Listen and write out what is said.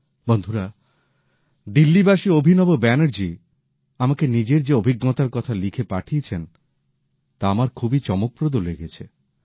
বন্ধুরা দিল্লীবাসী অভিনব ব্যানার্জী আমাকে নিজের যে অভিজ্ঞতার কথা লিখে পাঠিয়েছেন তা আমার খুবই চমকপ্রদ লেগেছে